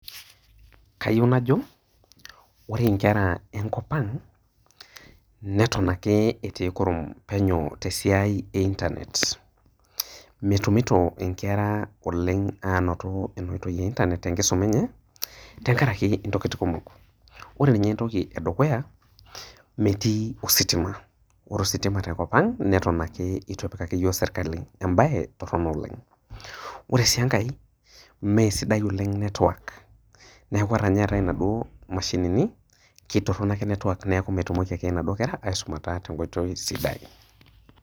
Kayieu najo ore nkera enkop ang natan ake etii kurum tesiai e internet metumoki nkera ainoto enaitoi tenkaraki ntokitin kumok, ore nye entoki edukuya metii ositima, ore ositima tenkop aang metii atan ake ituepikaki yiok serkali embae toronok oleng, ore si enkae mesidai ake network neaku ore nye nai eetae naduo mashinini ketoronok ake network neaku metumoki ake naduo kera aisumata tenkoitoi sidai.